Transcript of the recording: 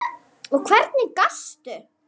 Og hvernig gastu.?